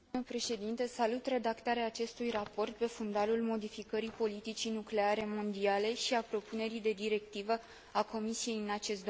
Salut redactarea acestui raport, pe fundalul modificării politicii nucleare mondiale, și a propunerii de directivă a Comisiei în acest domeniu.